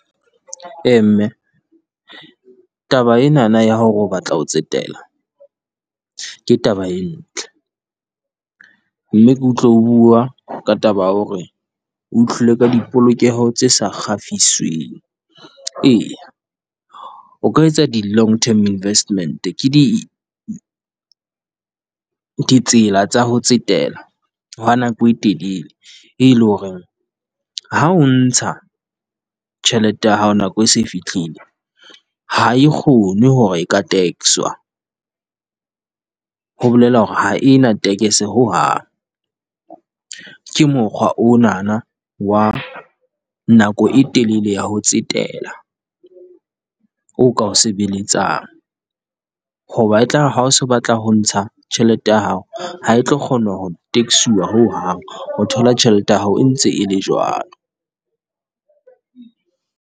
Ee mme taba enana ya hore o batla ho tsetela ke taba e ntle, mme ke utlwe o bua ka taba ya hore o ka di polokeho tse sa ee. O ka etsa di long term investment ke di ditsela tsa ho tsetela hwa nako e telele, e leng hore, ha o ntsa tjhelete ya hao nako e se fihlile, ha e kgone hore e ka tax-wa, ho bolela hore ha e na ho hang. Ke mokgwa onana wa nako e telele ya ho tsetela o ka ho sebeletsang, hoba e tla re ha o se o batla ho ntsha tjhelete ya hao, ha e tlo kgona ho tax-uwa ho hang. O thola tjhelete ya hao e ntse e le jwalo.